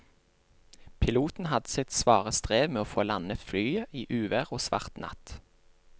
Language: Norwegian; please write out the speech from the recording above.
Piloten hadde sitt svare strev med å få landet flyet i uvær og svart natt.